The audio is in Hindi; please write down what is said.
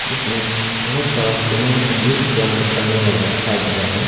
जिसमे बहोत सारा सीमेंट सब यूज़ किया करने वाला दिखाई दे रहा है।